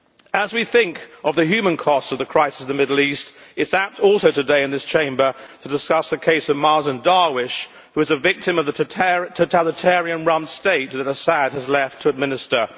As we think of the human cost of the crisis in the Middle East, it is apt also today in this Chamber to discuss the case of Mazen Darwish, who is a victim of the totalitarian run state that Assad has left to administer.